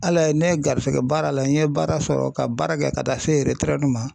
Ala ye ne garijɛgɛ baara la n ye baara sɔrɔ ka baara kɛ ka taa se retɛrɛdu ma